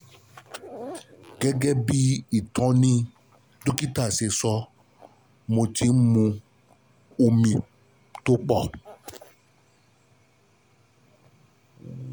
Gẹ́gẹ́ bí ìtọ́ni dókítà ṣe sọ, ṣe sọ, mo ti ń mu omi tó pọ̀